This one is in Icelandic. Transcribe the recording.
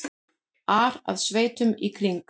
ar að sveitunum í kring.